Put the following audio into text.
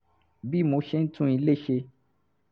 bí mo ṣe ń tún ilé ṣe